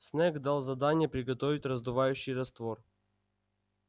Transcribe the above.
снегг дал задание приготовить раздувающий раствор